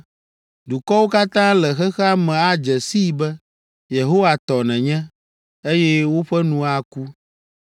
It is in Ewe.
Dukɔwo katã le xexea me adze sii be Yehowa tɔ nènye, eye woƒe nu aku.